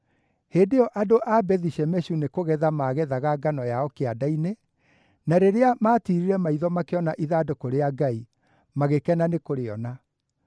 Hĩndĩ ĩyo andũ a Bethi-Shemeshu nĩ kũgetha maagethaga ngano yao kĩanda-inĩ, na rĩrĩa maatiirire maitho makĩona ithandũkũ rĩa Ngai, magĩkena nĩkũrĩona.